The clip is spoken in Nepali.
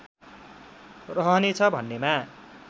रहनेछ भन्नेमा